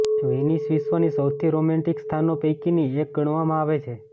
Venice વિશ્વની સૌથી romantic સ્થાનો પૈકીની એક ગણવામાં આવે છે